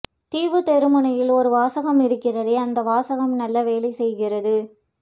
தீவு தெரு முனையில் ஒரு வாசகம் இருக்கிறதே அந்த வாசகம் நல்ல வேலை செய்கிறது